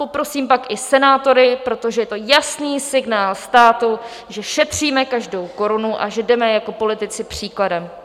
Poprosím pak i senátory, protože je to jasný signál státu, že šetříme každou korunu a že jdeme jako politici příkladem.